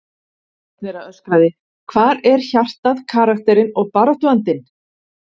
Einn þeirra öskraði: Hvar er hjartað, karakterinn og baráttuandinn?